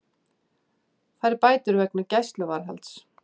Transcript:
Fær bætur vegna gæsluvarðhalds